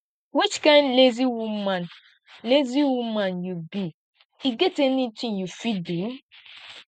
which kin lazy woman lazy woman you be e get anything you fit do